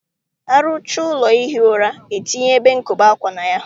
ar ụchaa ụlọ ihi ụra, e tinye ebe nkobe ákwà na ya